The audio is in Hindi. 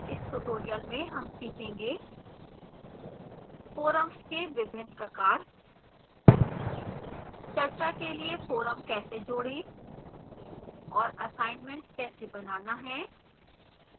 इस tutorial में हम सीखेंगे